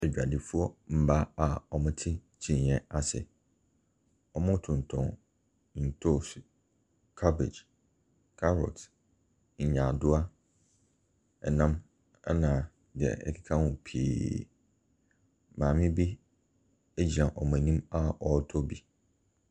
Adwadifoɔ mmaa a wɔte kyineɛ ase, wɔtontɔn ntoose, cabbage, carrot, nyaadoa, ɛnam ɛna deɛ ɛkeka ho pii. Maame bi ɛgyina wɔn anim a ɔretɔ bi.